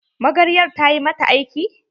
Magaryar ta ƴi mata aiki?